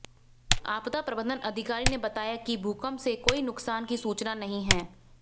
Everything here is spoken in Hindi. आपदा प्रबंधन अधिकारी ने बताया कि भूकंप से कोई नुकसान की सूचना नहीं है